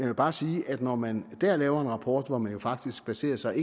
vil bare sige at når man der laver en rapport hvor man faktisk baserer sig